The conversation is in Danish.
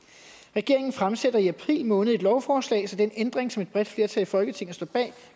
regeringen fremsætter i april måned et lovforslag så den ændring som et bredt flertal i folketinget står bag